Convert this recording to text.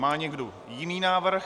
Má někdo jiný návrh?